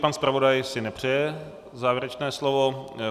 Pan zpravodaj si nepřeje závěrečné slovo?